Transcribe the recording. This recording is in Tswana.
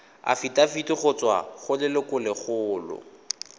afitafiti go tswa go lelokolegolo